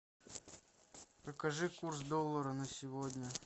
покажи курс доллара на сегодня